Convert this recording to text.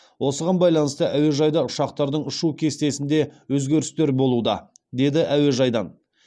осыған байланысты әуежайда ұшақтардың ұшу кестесінде өзгерістер болуда деді әуежайдан